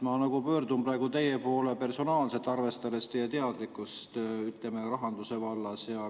Ma pöördun praegu teie poole personaalselt, arvestades teie teadlikkust rahanduse vallas.